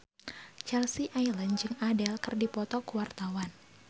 Chelsea Islan jeung Adele keur dipoto ku wartawan